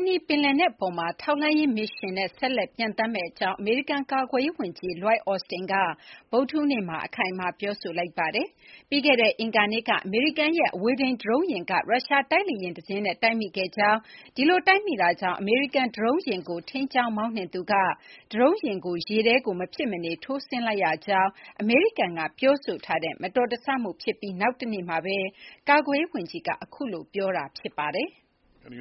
အနီး ပင်လယ်နက်အပေါ်မှာ ထောက်လှမ်းရေးမစ်ရှင်နဲ့ ဆက်လက် ပျံသန်းမယ့်အကြောင်း အမေရိကန် ကာကွယ်ရေးဝန်ကြီး Lloyd Austin က ဗုဒ္ဓဟူးနေ့မှာ အခိုင်အမာ ပြောဆိုလိုက်ပါတယ်။ ပြီးခဲ့တဲ့အင်္ဂါနေ့က အမေရိကန်ရဲ့ အဝေးထိန်း ဒရုန်းယာဉ်က ရုရှားတိုက်လေယာဉ်တစင်းနဲ့ တိုက်မိခဲ့ကြောင်း၊ ဒီလိုတိုက်မိတာကြောင့် အမေရိကန်ဒရုန်းယာဉ်ကို ထိန်းကျောင်းမောင်းနှင်သူက ဒရုန်းယာဉ်ကို မဖြစ်မနေ ရေထဲထိုးဆင်းလိုက်ရကြောင်း အမေရိကန်ကပြောတဲ့ မတော်တဆမှုဖြစ်ပြီး နောက်တနေ့မှာ အခုလို ပြောဆိုတာဖြစ်ပါတယ်။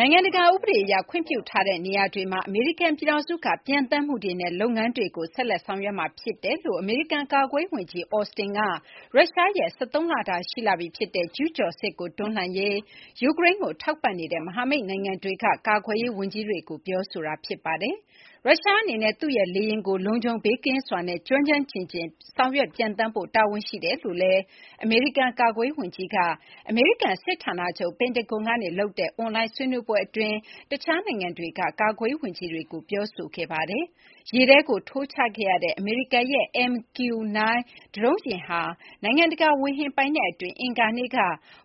နိုင်ငံတကာဥပဒေအရ ခွင့်ပြုထားတဲ့နေရာတွေမှာ အမေရိကန်ပြည်ထောင်စုက ပျံသန်းမှုတွေနဲ့ လုပ်ငန်းတွေကို ဆက်လက်ဆောင်ရွက်မှာဖြစ်ပါတယ်လို့ အမေရိကန် ကာကွယ်ရေးဝန်ကြီး Austin က ရုရှားရဲ့ ၁၃ လတာရှိလာပြီဖြစ်တဲ့ ကျူးကျော်စစ်ကို တွန်းလှန်ရေး ယူကရိန်းကိုထောက်ပံ့နေတဲ့ မဟာမိတ်နိုင်ငံတွေက ကာကွယ်ရေး ဝန်ကြီးတွေကို ပြောဆိုခဲ့တာဖြစ်ပါတယ်။ ရုရှားအနေနဲ့ သူ့ရဲ့လေယာဉ်ကို လုံခြုံဘေးကင်းစွာနဲ့ ကျွမ်းကျွမ်းကျင်ကျင် ဆောင်ရွက်ပျံသန်းဖို့ တာဝန်ရှိတယ်လို့လည်း အမေရိကန် ကာကွယ်ရေးဝန်ကြီးက အမေရိကန် စစ်ဌာနချုပ် ပင်တဂွန်ကလုပ်တဲ့ အွန်လိုင်းဆွေးနွေးပွဲအတွင်းမှာ တခြားနိုင်ငံတွေက ကာကွယ်ရေးဝန်ကြီးတွေကို ပြောဆိုတာဖြစ်ပါတယ်။ ရေထဲကိုထိုးချခဲ့ရတဲ့ အမေရိကန်ရဲ့ MQ-9 ဒရုန်းယာဉ်ဟာ နိုင်ငံတကာဝေဟင်ပိုင်နက်အတွင်း အင်္ဂါနေ့က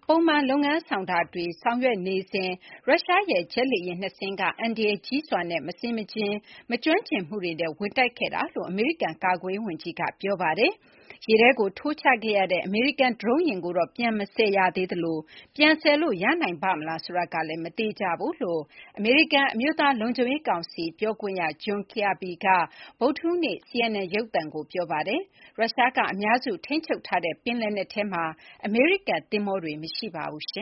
ပုံမှန် လုပ်ငန်းဆောင်တာတွေလုပ်နေစဉ်မှာ ရုရှားရဲ့ ဂျက်လေယာဉ် ၂ စင်းက အန္တရာယ်ကြီးစွာနဲ့ မဆင်မခြင်၊ မကျွမ်းကျင်မှုတွေနဲ့ ဝင်တိုက်ခဲ့တာလို့လည်း အမေရိကန် ကာကွယ်ရေး ဝန်ကြီးက ပြောပါတယ်။ ရေထဲထိုးချခဲ့ရတဲ့ အမေရိကန်ဒရုန်းယာဉ်ကိုတော့ ပြန်မဆယ်ရသေးသလို ပြန်ဆယ်လို့ ရနိုင်ပါ့မလားဆိုတာကလည်း မသေချာဘူးလို့ အမေရိကန်အမျိုးသားလုံခြုံရေး ကောင်စီပြောခွင့်ရ John Kirby က ဗုဒ္ဓဟူးနေ့မှာ CNN ရုပ်သံကို ပြောပါတယ်။ ရုရှားက အများစုထိန်းချုပ်ထားတဲ့ ပင်လယ်နက်ထဲမှာ အမေရိကန်သင်္ဘောတွေမရှိပါဘူး။